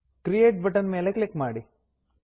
create button ಮೇಲೆ click ಮಾಡಿ